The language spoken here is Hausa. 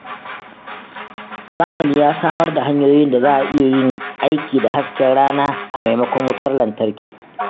Zamani ya samar da hanyoyin da za a iya yin aiki da hasken rana a maimakon wutar lantarki